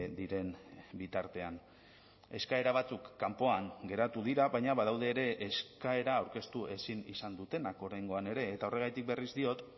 diren bitartean eskaera batzuk kanpoan geratu dira baina badaude ere eskaera aurkeztu ezin izan dutenak oraingoan ere eta horregatik berriz diot